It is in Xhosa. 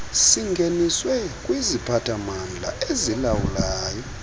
singeniswe kwiziphathamandla ezilawulayo